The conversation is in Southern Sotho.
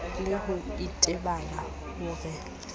le ho itebala ho re